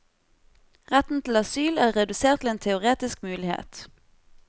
Retten til asyl er redusert til en teoretisk mulighet.